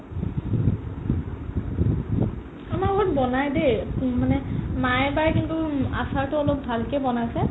আমাৰ ঘৰত বনাই দেই এহ্ মানে মায়ে বায়ে কিন্তু উম আচাৰতো অলপ ভালকে বনাইছে